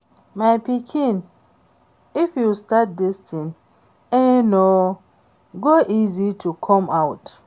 My pikin if you start dis thing e no go easy to come out